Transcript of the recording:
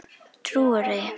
Trúirðu því?